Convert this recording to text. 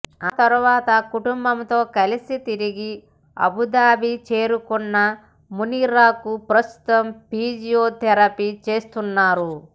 తర్వాత కుటుంబంతో కలిసి తిరిగి అబుదాబి చేరుకున్న మునీరాకు ప్రస్తుతం ఫీజియోథెరపి చేస్తున్నారు